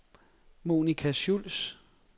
Monica Schultz